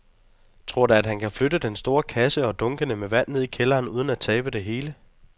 Tror du, at han kan flytte den store kasse og dunkene med vand ned i kælderen uden at tabe det hele?